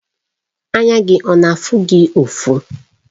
Anya gị ọ na-afụ gị ufọ?